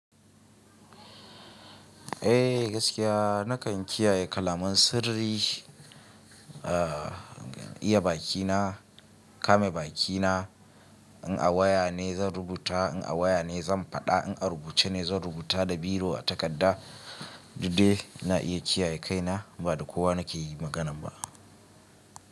Eh gaskiya nakan kiyaye kalaman sirri, iya bakina, kame bakina. In a waya ne zan rubuta, in a waya ne zan faɗa, in a rubuce ne zan rubuta da biro a takarda. Dudde na iya kiyaye kaina ba da kowa nake yi maganan ba.